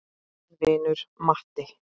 Þinn vinur Matti.